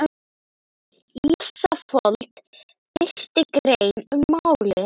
Ísafold birti grein um málið